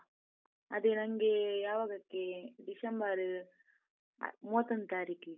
ಅದೆ ನನ್ಗೆ ಯಾವಾಗಕ್ಕೆ ಡಿಸೆಂಬರ್ ಮೂವತ್ತೊಂದು ತಾರೀಕಿಗೆ.